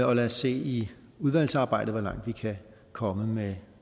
og lad os se i udvalgsarbejdet hvor langt vi kan komme med